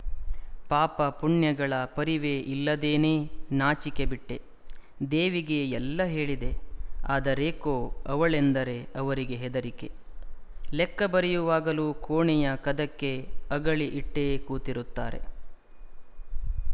ಪಾಪ ಪುಣ್ಯಗಳ ಪರಿವೆ ಇಲ್ಲದೇನೆನಾಚಿಕೆ ಬಿಟ್ಟೇ ದೇವಿಗೆ ಎಲ್ಲ ಹೇಳಿದೆ ಆದರೇಕೋ ಅವಳೆಂದರೆ ಅವರಿಗೆ ಹೆದರಿಕೆ ಲೆಕ್ಕ ಬರೆಯುವಾಗಲೂ ಕೋಣೆಯ ಕದಕ್ಕೆ ಅಗಳಿ ಇಟ್ಟೇ ಕೂತಿರುತ್ತಾರೆ